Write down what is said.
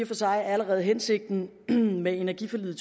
for sig allerede hensigten med energiforliget